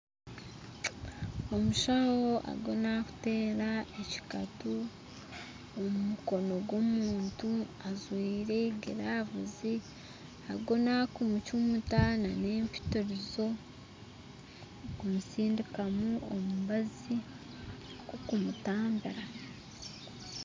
Omushaho ariyo nakutera ekikatu omu mukono gw'omuntu ajwaire giravuzi ariyo nakumucumita n'empitirizo kumusindikamu omubazi gwokumutambira.